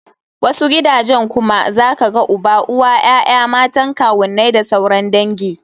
Wasu gidajen kuma zaka ga uba, uwa, ya'ya, matan kawunnai da sauran dangi.